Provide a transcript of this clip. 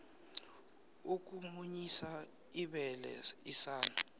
ukumunyisa ibele isana